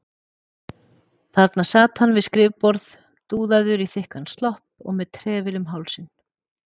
Þarna sat hann við skrifborð, dúðaður í þykkan slopp og með trefil um hálsinn.